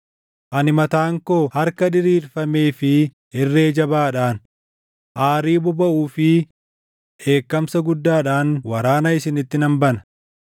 Ani mataan koo harka diriirfamee fi irree jabaadhaan, aarii bobaʼuu fi dheekkamsa guddaadhaan waraana isinitti nan bana.